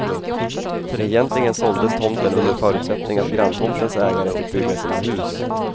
Egentligen såldes tomten under förutsättning att granntomtens ägare fick bygga sina hus.